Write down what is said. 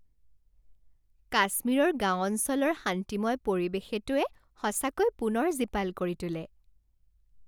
কাশ্মীৰৰ গাঁও অঞ্চলৰ শান্তিময় পৰিৱেশেটোৱে সঁচাকৈ পুনৰ জীপাল কৰি তোলে।